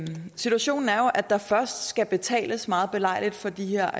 situationen er jo at der først skal betales meget belejligt for de her